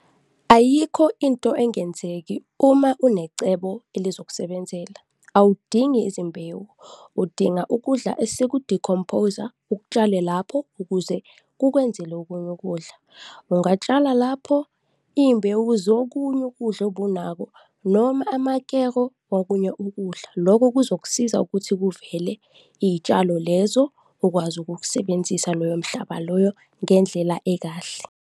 Ayikho into engenzeki uma unecebo elizokusebenzela. Awudingi izimbewu, udinga ukudla eseku-decompose-a, ukutshale lapho ukuze kukwenzele okunye ukudla. Ungatshala lapho izimbewu zokunye ukudla obunakho noma amakero wokunye ukudla, loko kuzokusiza ukuthi kuvele iy'tshalo lezo, ukwazi ukukusebenzisa loyo mhlaba loyo ngendlela ekahle.